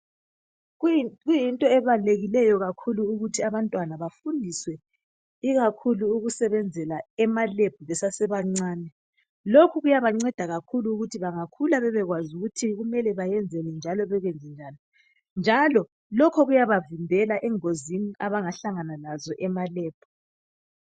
Kuyinto ebalulekileyo kakhulu ukuthi abantwana bafundiswe ikakhulu ukusebenzela ema "lab" besasebancane lokhu kuyabanceda kakhulu ukuthi bangakhula bebekwazi ukuthi kumele beyenzeni njalo bekwenze njani njalo lokho kuyabavimbela engozini abangahlangana lazo ema "lab".